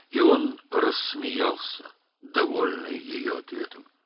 və o, onun cavabından razı qaldı, güldü.